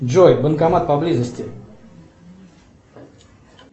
джой банкомат поблизости